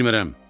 Bilmərəm.